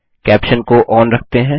caption को on रखते हैं